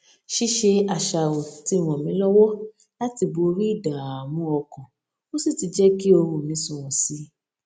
ṣíṣe àṣàrò ti ràn mí lówó láti borí ìdààmú ọkàn ó sì ti jé kí oorun mi sunwòn sí i